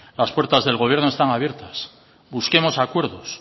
las puertas del gobierno están abiertas busquemos acuerdos